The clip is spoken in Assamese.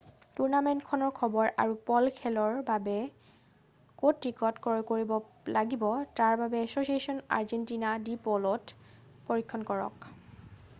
টুৰ্ণামেণ্টখনৰ খবৰ আৰু প'ল' খেলৰ বাবে ক'ত টিকট ক্ৰয় কৰিব লাগিব তাৰ বাবে এছ'ছিয়েচন আৰ্জেণ্টিনা ডি প'ল'ত পৰীক্ষণ কৰক